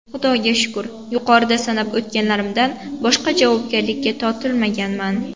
Xudoga shukr, yuqorida sanab o‘tganlarimdan boshqa javobgarlikka tortilmaganman.